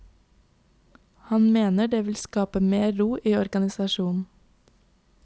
Han mener det vil skape mer ro i organisasjonen.